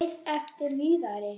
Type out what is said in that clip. Beið eftir Viðari.